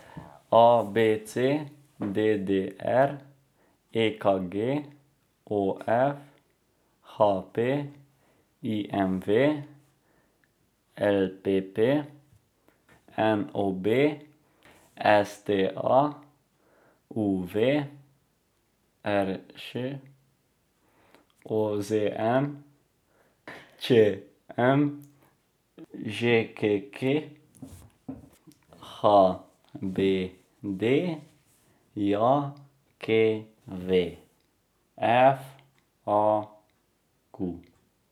A B C; D D R; E K G; O F; H P; I M V; L P P; N O B; S T A; U V; R Š; O Z M; Č M; Ž K K; H B D J K V; F A Q.